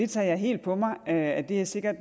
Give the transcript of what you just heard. tager helt på mig at der sikkert